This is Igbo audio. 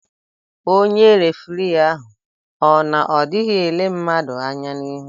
Onye refirii ahụ o n'odighị ele mmadụ anya n'ihu?